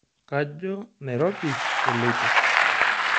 Kajo Nairobi eloito.